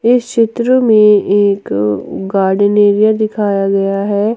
इस चित्र में एक गार्डेन एरिया दिखाया गया है।